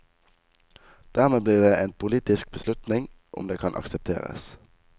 Dermed blir det en politisk beslutning om det kan aksepteres.